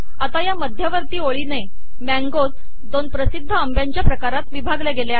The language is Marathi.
आता ह्या मध्यवर्ती ओळीने मँगोज 2 प्रसिद्ध आंब्याच्या प्रकारात विभागले गेले आहेत